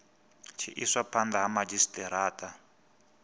tshi iswa phanda ha madzhisitarata